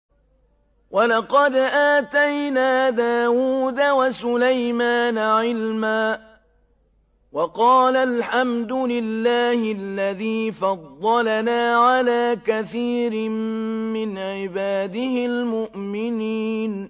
وَلَقَدْ آتَيْنَا دَاوُودَ وَسُلَيْمَانَ عِلْمًا ۖ وَقَالَا الْحَمْدُ لِلَّهِ الَّذِي فَضَّلَنَا عَلَىٰ كَثِيرٍ مِّنْ عِبَادِهِ الْمُؤْمِنِينَ